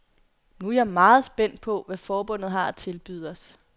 Nu er jeg meget spændt på, hvad forbundet har at tilbyde os.